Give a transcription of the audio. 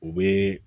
U bɛ